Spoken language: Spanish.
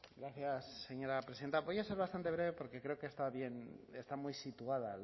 gracias señora presidenta voy a ser bastante breve porque creo que está bien está muy situada